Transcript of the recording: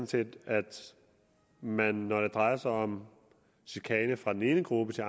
set at man når det drejer sig om chikane fra én gruppe